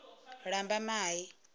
lambamai